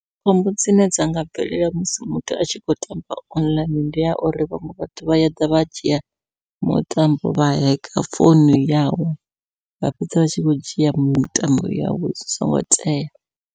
Khombo dzine dza nga bvelela musi muthu a tshi khou tamba online, ndi ya uri vhaṅwe vhathu vha ya ḓa vha dzhia mutambo wa hacker founu yawe, vha fhedza vha tshi khou dzhia mitambo yawe zwi songo tea.